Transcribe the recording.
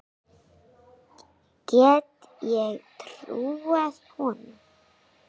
Gat ég trúað honum?